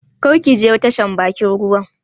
Kar ki je tashan bakin ruwa